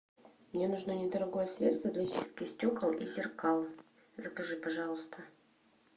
мне нужно недорогое средство для чистки стекол и зеркал закажи пожалуйста